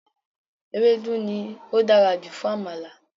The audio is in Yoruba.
Ewédú ni ó dára jù fún Àmàlà